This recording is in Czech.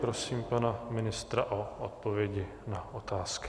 Prosím pana ministra o odpovědi na otázky.